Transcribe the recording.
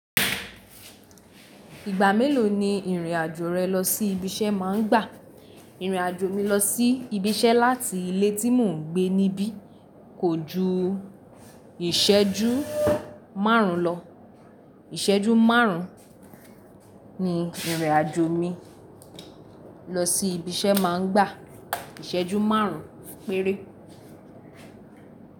Ìgbà mélòó ni ìrìn àjò rẹ lọ sí ibi iṣẹ́ re má ń gbà? Ìrìn àjò mi lọ sí ibi iṣẹ́ láti ilé tí mò ń gbé níbí kò ju ìṣẹ́jú márùn ún lọ. Ìṣẹ́jú márùn ún ni ìrìn àjò mi lọ sí ibi iṣẹ́ má ń gbà. Ìṣẹ́jú márùn ún péré.